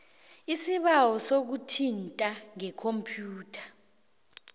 isibawo sokuthintana ngekhompyutha